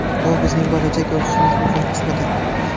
Bu bizning bo‘lajak o‘sishimiz muhim qismidir.